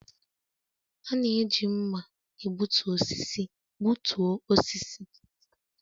A na-eji mma egbutu osisi gbutuo osisi